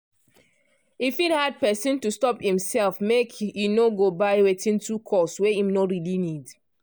e fit hard person to stop imself make e no go buy wetin too cost wey im no really need.